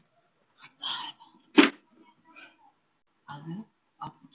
आहे